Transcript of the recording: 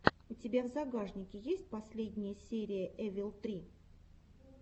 у тебя в загашнике есть последняя серия эвил три